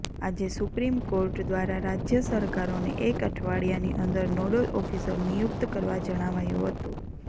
આજે supreme court દ્વારા રાજ્ય સરકારોને એક અઠવાડિયાની અંદર નોડલ ઓફિસર નિયુક્ત કરવા જણાવાયું હતું